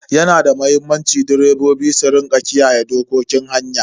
Yana da muhimmanci direbobi su rika kiyaye dokokin hanya.